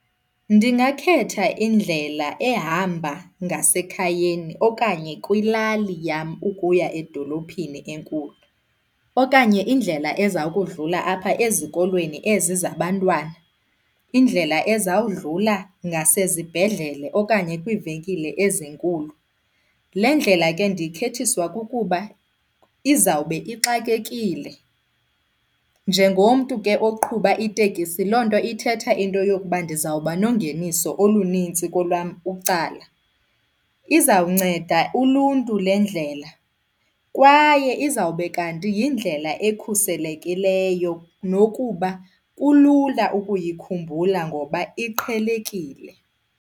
Ndingakhetha indlela ehamba ngasekhayeni okanye kwilali yam ukuya edolophini enkulu okanye indlela eza kudlula apha ezikolweni ezi zabantwana, indlela ezawudlala ngasezibhedlele okanye kwiivenkile ezinkulu. Le ndlela ke ndiyikhethiswa kukuba izawube ixakekile. Njengomntu ke oqhuba itekisi loo nto ithetha into yokuba ndizawuba nongeniso olunintsi kolwam ucala. Izawunceda uluntu le ndlela kwaye izawube kanti yindlela ekhuselekileyo nokuba kulula ukuyikhumbula ngoba iqhelekile.